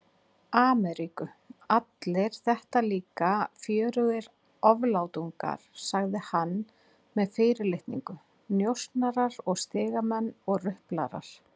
Ameríku, allir þetta líka fjörugir oflátungar, sagði hann með fyrirlitningu, njósnarar og stigamenn og ruplarar.